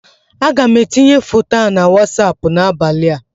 Aga m etinye foto a na wasapụ n'abalị a